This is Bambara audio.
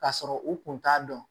K'a sɔrɔ u kun t'a dɔn